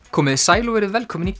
komiði sæl og verið velkomin í